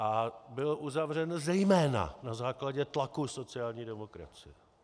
A byl uzavřen zejména na základě tlaku sociální demokracie.